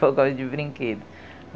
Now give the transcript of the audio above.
de brinquedo.